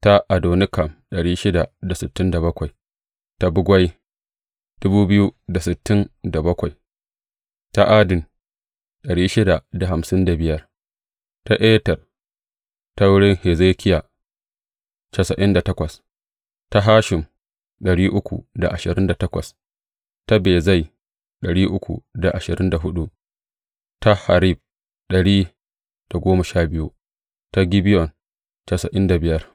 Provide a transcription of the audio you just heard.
Zuriyar Farosh mutum ta Shefatiya ta Ara ta Fahat Mowab ta wurin Yeshuwa da Yowab ta Elam dubu daya da dari biyu da hamsin da hudu ta Zattu ta Zakkai ta Binnuyi ta Bebai ta Azgad ta Adonikam ta Bigwai ta Adin ta Ater ta wurin Hezekiya casa'in da takwas ta Hashum ta Bezai ta Harif dari da goma sha biyu ta Gibeyon casa'in da biyar.